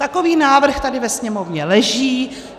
Takový návrh tady ve Sněmovně leží.